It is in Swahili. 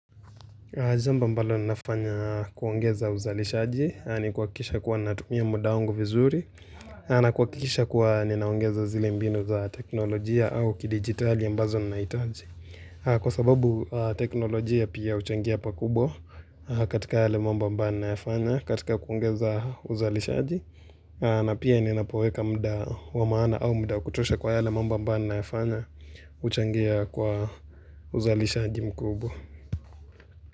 Zambo ambalo ninafanya kuongeza uzalishaji ni kuhakisha kuwa natumia muda wangu vizuri na kuhakikisha kuwa ninaongeza zile mbinu za teknolojia au kidigitali ambazo ninahitaji. Kwa sababu teknolojia pia huchangia pakubwa katika yale mambo ambayo nayafanya katika kuongeza uzalishaji na pia ninapoweka muda wa maana au muda kutosha kwa yale mambo ambayo nayafanya uchangia kwa uzalishaji mkubo.